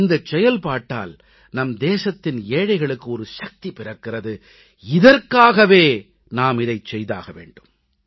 இந்தச் செயல்பாட்டால் நம் தேசத்தின் ஏழைகளுக்கு சக்தி பிறக்கிறது இதற்காகவே நாம் இதைச் செய்தாக வேண்டும்